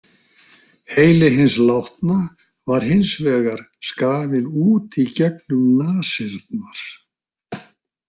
Heili hins látna var hins vegar skafinn út í gegnum nasirnar.